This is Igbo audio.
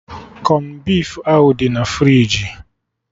Kọn beef ahụ dị na friji